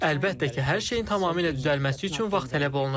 Əlbəttə ki, hər şeyin tamamilə düzəlməsi üçün vaxt tələb olunur.